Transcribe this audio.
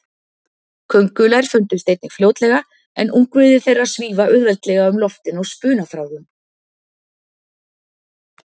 Köngulær fundust einnig fljótlega, en ungviði þeirra svífa auðveldlega um loftin á spunaþráðum.